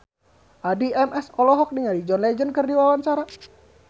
Addie MS olohok ningali John Legend keur diwawancara